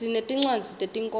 sinetincwadzi tetinkhondlo